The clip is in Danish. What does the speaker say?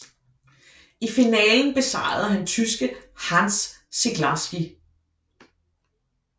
I finalen besejrede han tyske Hans Ziglarski